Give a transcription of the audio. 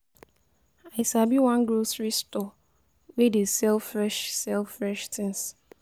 I sabi one grocery store wey dey sell fresh sell fresh tins.